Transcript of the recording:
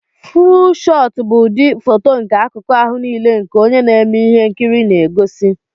fúú shootu bụ ụdị fóto nke akụku ahụ nile nke onye na-eme ihe nkiri na egosi